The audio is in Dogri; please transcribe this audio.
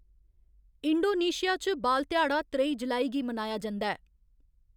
इंडोनेशिया च बाल ध्याड़ा त्रेई जुलाई गी मनाया जंदा ऐ।